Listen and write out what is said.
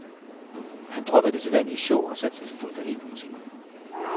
Han droppede det sædvanlige show og satsede fuldt og helt på musikken.